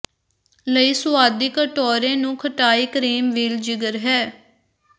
ਲਈ ਸੁਆਦੀ ਕਟੋਰੇ ਨੂੰ ਖਟਾਈ ਕਰੀਮ ਵੀਲ ਜਿਗਰ ਹੈ